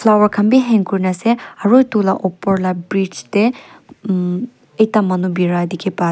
flower khan bi hang kurna ase aro edu la opor la bridge tae ekta manu bira dikhipa ase.